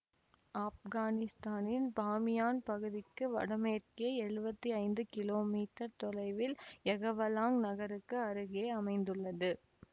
ஆப்கானிஸ்தானின் பாமியான் பகுதிக்கு வடமேற்கே எழுவத்தி ஐந்து கிலோமீட்டர் தொலைவில் யகவலாங் நகருக்கு அருகே அமைந்துள்ளது